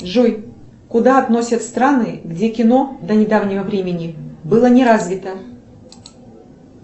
джой куда относят страны где кино до недавнего времени было не развито